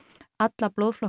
alla blóðflokka